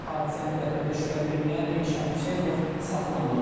Hadisəni törətməkdə şübhəli bilinən Elşən Hüseynov saxlanılıb.